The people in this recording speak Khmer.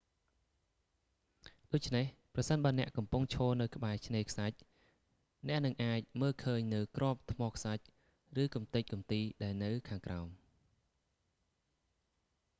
ដូច្នេះ ប្រសិនបើអ្នកកំពុងឈរនៅក្បែរឆ្នេរខ្សាច់ អ្នកនឹងអាចមើលឃើញនូវគ្រាប់ថ្មខ្សាច់ ឬកំទេចកំទីដែលនៅខាងក្រោម